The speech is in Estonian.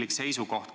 Austatud eesistuja!